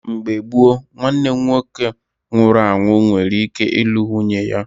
Mgbe gboo, nwanne nwoke nwụrụ anwụ nwere ike ịlụ nwunye ya